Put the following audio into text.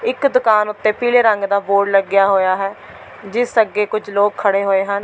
ਇੱਕ ਦੁਕਾਨ ਉੱਤੇ ਪੀਲੇ ਰੰਗ ਦਾ ਬੋਰਡ ਲੱਗਿਆ ਹੋਇਆ ਹੈ ਜਿਸ ਅੱਗੇ ਕੁਝ ਲੋਗ ਖੜ੍ਹੇ ਹੋਏ ਹਨ।